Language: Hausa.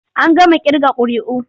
An gama ƙirga ƙuri'u.